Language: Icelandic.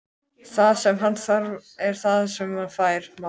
Það sem hann þarf er það sem hann fær, mamma.